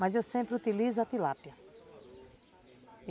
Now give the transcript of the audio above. Mas eu sempre utilizo a tilápia.